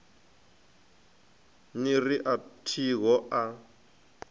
ni ri a thiho a